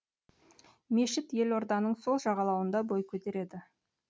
мешіт елорданың сол жағалауында бой көтереді